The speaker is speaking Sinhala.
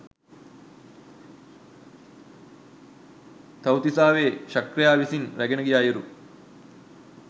තව්තිසාවේ ශක්‍රයා විසින් රැගෙන ගිය අයුරු